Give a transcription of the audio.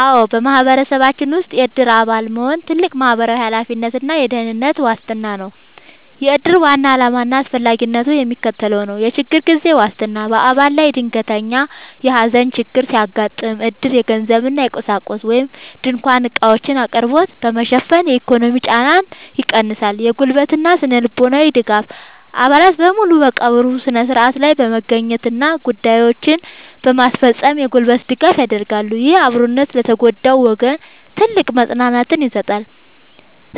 አዎ፣ በማህበረሰባችን ውስጥ የዕድር አባል መሆን ትልቅ ማህበራዊ ኃላፊነትና የደህንነት ዋስትና ነው። የዕድር ዋና ዓላማና አስፈላጊነት የሚከተለው ነው፦ የችግር ጊዜ ዋስትና፦ በአባል ላይ ድንገተኛ የሐዘን ችግር ሲያጋጥም፣ ዕድር የገንዘብና የቁሳቁስ (ድንኳንና ዕቃዎች) አቅርቦትን በመሸፈን የኢኮኖሚ ጫናን ይቀንሳል። የጉልበትና ስነ-ልቦናዊ ድጋፍ፦ አባላት በሙሉ በቀብሩ ሥነ ሥርዓት ላይ በመገኘትና ጉዳዮችን በማስፈጸም የጉልበት ድጋፍ ያደርጋሉ። ይህ አብሮነት ለተጎዳው ወገን ትልቅ መጽናናትን ይሰጣል።